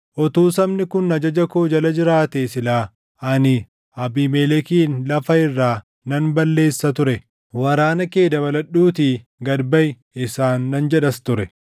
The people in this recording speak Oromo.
Utuu sabni kun ajaja koo jala jiraatee silaa ani Abiimelekin lafa irraa nan balleessa ture; ‘Waraana kee dabaladhuutii gad baʼi!’ isaan nan jedhas ture.”